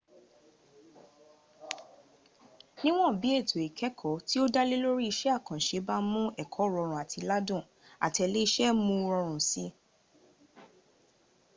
niwọn bi eto ikẹkọ ti o dalẹ lori iṣẹ akanṣe ba mu ẹkọ rọrun ati ladun atẹlẹsẹ mu u rọrun si